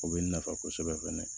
O bɛ nafa kosɛbɛ fɛnɛ